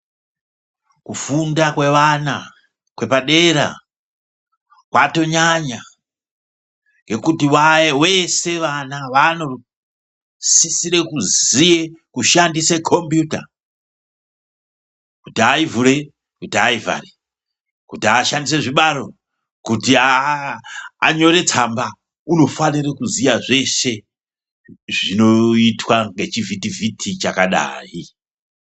Kufunda kwevana kwepadera kwatonyanya ngekuti veshe vana vanosisire kuziye kushandise kombiyuta kuti aivhure kuti aivhare kuti ashandise zvibaro kuti anyore tsamba unofanira kuziya zveshe zvinoitwa ngechivhiti vhiti chakadai.